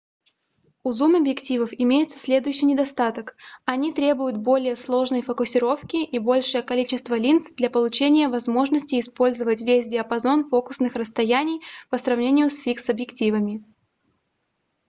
у зум-объективов имеется следующий недостаток они требуют более сложной фокусировки и большее количество линз для получения возможности использовать весь диапазон фокусных расстояний по сравнению с фикс-объективами